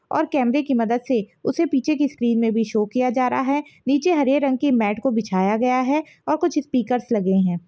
और केमरे की मदद से उसे पीछे की स्क्रीन मे भी शो किया जा रहा है नीचे हरे रंग की मैट को बिछाया गया है और कुछ स्पीकर्स लगे है ।